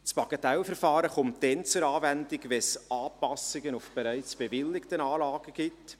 Das Bagatellverfahren kommt dann zur Anwendung, wenn es Anpassungen an bereits bewilligten Anlagen gibt.